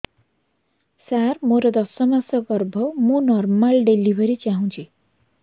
ସାର ମୋର ଦଶ ମାସ ଗର୍ଭ ମୁ ନର୍ମାଲ ଡେଲିଭରୀ ଚାହୁଁଛି